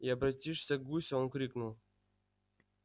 и обратившись к гусю он крикнул